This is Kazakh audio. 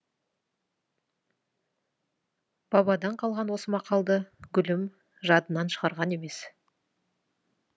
бабадан қалған осы мақалды гүлім жадынан шығарған емес